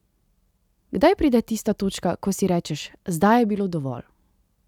Kdaj pride tista točka, ko si rečeš: "Zdaj je bilo dovolj.